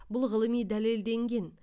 бұл ғылыми дәлелденген